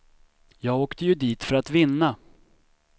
Jag åkte ju dit för att vinna.